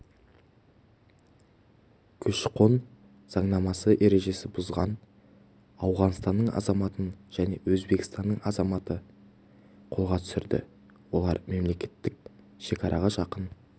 көші-қон заңнамасы ережесін бұзған ауғанстанның азаматын және өзбекстанның азаматын қолға түсірді олар мемлекеттік шекараға жақын